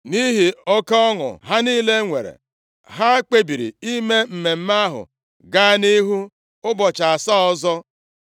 Nʼihi oke ọṅụ ha niile nwere, ha kpebiri ime mmemme ahụ gaa nʼihu ụbọchị asaa ọzọ.